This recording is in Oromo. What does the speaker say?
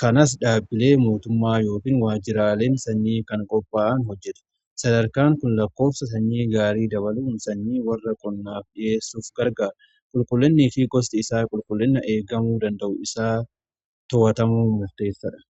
kanas dhaabbilee mootummaa yookiin waajjiraaleen sanyii kan qopaa'an hojjetu. Sadarkaan kun lakkoofsa sanyii gaarii dabaluun sanyii warra qonnaaf dhiheessuuf gargaara. Qulqullinni fi gosti isaa qulqullinni eegamuu danda'u isaa to'atamuu mufteessadha.